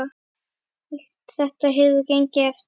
Allt þetta hefur gengið eftir.